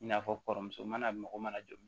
I n'a fɔ kɔrɔmuso mana mɔgɔ mana jɔ